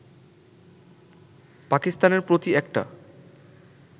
পাকিস্তানের প্রতি একটা